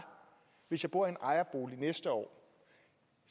hvis jeg bor i en ejerbolig næste år